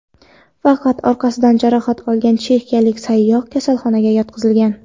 Faqat orqasidan jarohat olgan chexiyalik sayyoh kasalxonaga yotqizilgan.